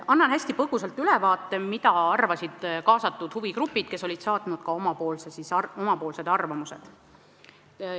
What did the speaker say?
Annan hästi põgusalt ülevaate, mida arvasid kaasatud huvigrupid, kes olid saatnud ka oma arvamuse.